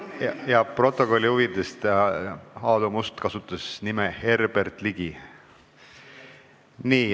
Stenogrammi huvides: Aadu Must nimetas Herbert Ligi nime.